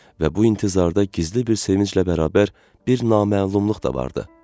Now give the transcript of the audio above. Və bu intizarda gizli bir sevinclə bərabər bir naməlumluq da vardı.